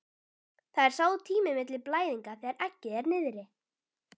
Það er sá tími milli blæðinga þegar eggið er niðri.